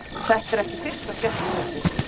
Þetta er ekki fyrsta skemmtikvöldið.